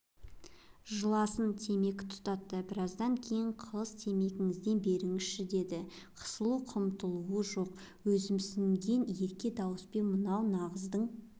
жыласын темекі тұтатты біраздан кейін қыз темекіңізден беріңізші деді қысылу-қымтырылуы жоқ өзімсінген ерке дауыспен мынау нағыздың